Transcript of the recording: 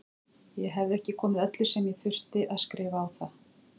Ég hefði ekki komið öllu sem ég þurfti að skrifa á það.